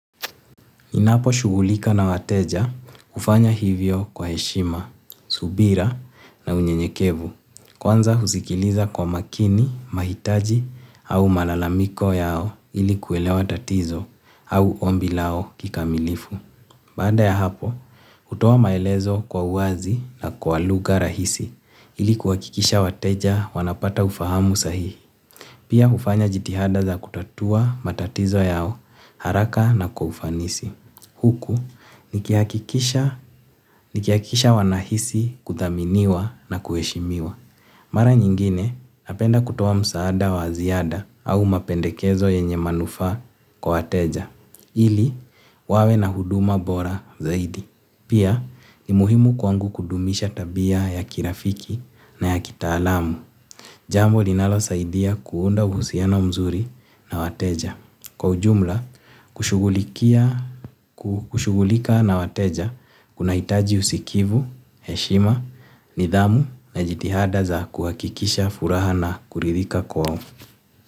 Ninapo shughulika na wateja hufanya hivyo kwa heshima subira na unyenyekevu. Kwanza husikiliza kwa makini, mahitaji au malalamiko yao ili kuelewa tatizo au ombi lao kikamilifu. Baada ya hapo hutoa maelezo kwa uwazi na kwa lugha rahisi ili kuhakikisha wateja wanapata ufahamu sahihi. Pia hufanya jitihada za kutatua matatizo yao haraka na kwa ufanisi. Huku nikihakikisha wanahisi kudhaminiwa na kuheshimiwa. Mara nyingine, napenda kutoa msaada wa ziada au mapendekezo yenye manufaa kwa wateja. Ili wawe na huduma bora zaidi. Pia ni muhimu kwangu kudumisha tabia ya kirafiki na ya kitaalamu. Jambo linalo saidia kuunda uhusiana mzuri na wateja. Kwa ujumla kushughulika na wateja kunahitaji usikivu heshima nidhamu na jitihada za kuhakikisha furaha na kuridhika kwao.